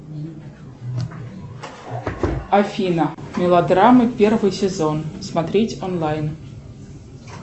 афина мелодрамы первый сезон смотреть онлайн